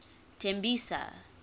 tembisa